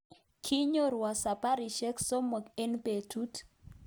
Kinyorwo sabarisyek sosom eng betut